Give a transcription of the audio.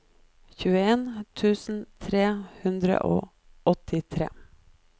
tjueen tusen tre hundre og åttitre